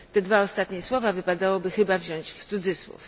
Te dwa ostatnie słowa wypadałoby chyba wziąć w cudzysłów.